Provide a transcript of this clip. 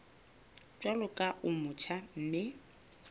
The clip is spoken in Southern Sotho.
jwalo ka o motjha mme